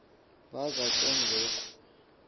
baza ke ngoko